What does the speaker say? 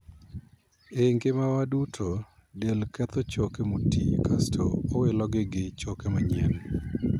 E ngimawa duto, del ketho choke motii kasto owilogi gi choke manyien.